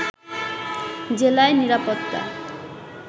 জেলায় নিরাপত্তা